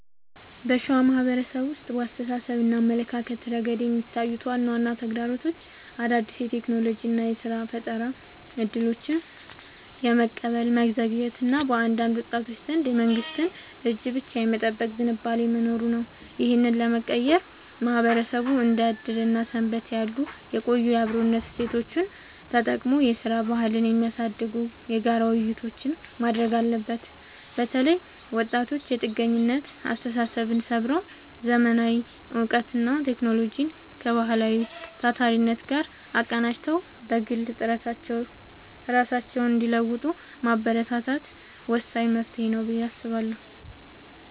በሸዋ ማህበረሰብ ውስጥ በአስተሳሰብና አመለካከት ረገድ የሚታዩት ዋና ዋና ተግዳሮቶች አዳዲስ የቴክኖሎጂና የሥራ ፈጠራ እድሎችን በፍጥነት የመቀበል መዘግየት እና በአንዳንድ ወጣቶች ዘንድ የመንግስትን እጅ ብቻ የመጠበቅ ዝንባሌ መኖሩ ነው። ይህንን ለመቀየር ማህበረሰቡ እንደ ዕድርና ሰንበቴ ያሉ የቆዩ የአብሮነት እሴቶቹን ተጠቅሞ የሥራ ባህልን የሚያሳድጉ የጋራ ውይይቶችን ማድረግ አለበት። በተለይ ወጣቶች የጥገኝነት አስተሳሰብን ሰብረው: ዘመናዊ እውቀትንና ቴክኖሎጂን ከባህላዊው ታታሪነት ጋር አቀናጅተው በግል ጥረታቸው ራሳቸውን እንዲለውጡ ማበረታታት ወሳኝ መፍትሄ ነው ብዬ አስባለሁ።